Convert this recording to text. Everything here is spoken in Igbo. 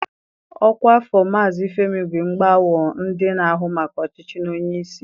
Ọkwa afọ Maazị Femi bụ Egbeawo, ndị na-ahụ maka ọchịchị na onye isi.